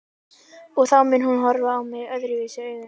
Og þá mun hún horfa á mig öðruvísi augum.